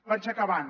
vaig acabant